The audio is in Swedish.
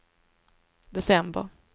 december